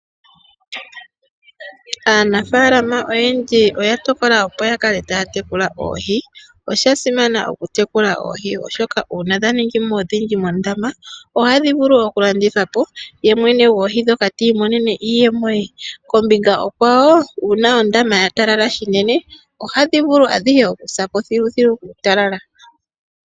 Aanafaalama oyendji oya tokola opo yakale taya tekula oohi. Oshasimana oku tekula oohi oshoka uuna dhaningimo odhindji mondama ohadhi vulu oku landithwapo ye mwene gwoohi ndhoka ti imonene iiyemo ye . Kombinga onkwawo shampa ondama ya talala ohadhi vulu sapo thiluthilu kuutalala.